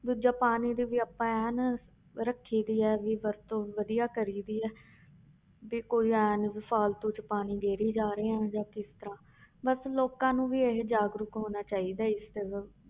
ਦੂਜਾ ਪਾਣੀ ਦੀ ਵੀ ਆਪਾਂ ਐਨ ਰੱਖੀ ਦੀ ਹੈ ਵੀ ਵਰਤੋਂ ਵਧੀਆ ਕਰੀ ਦੀ ਹੈ ਵੀ ਕੋਈ ਇਉਂ ਨੀ ਵੀ ਫ਼ਾਲਤੂ 'ਚ ਪਾਣੀ ਰੇੜੀ ਜਾ ਰਹੇ ਹਾਂ ਜਾਂ ਕਿਸ ਤਰ੍ਹਾਂ ਬਸ ਲੋਕਾਂ ਨੂੰ ਵੀ ਇਹੀ ਜਾਗਰੂਕ ਹੋਣਾ ਚਾਹੀਦਾ ਹੈ ਇਸ ਤਰ੍ਹਾਂ